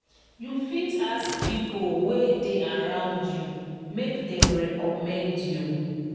join groups or communities wey de post update wey you need